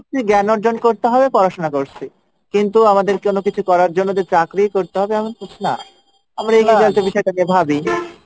জ্ঞান অর্জন করছি জ্ঞান অর্জন করছি পড়াশোনা করছি কিন্তু আমাদের কোনো কিছু করার জন্য যে চাকরি করতে হবে এরকম কিছু না।